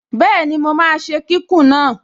Bẹ́ẹ̀ni, mo máa ṣe kíkùn náà